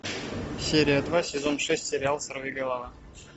серия два сезон шесть сериал сорви голова